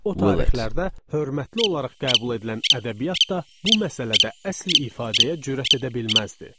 O tarixlərdə hörmətli olaraq qəbul edilən ədəbiyyat da bu məsələdə əsl ifadəyə cürət edə bilməzdi.